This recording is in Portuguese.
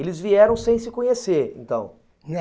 Eles vieram sem se conhecer, então.